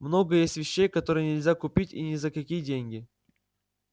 много есть вещей которые нельзя купить и ни за какие деньги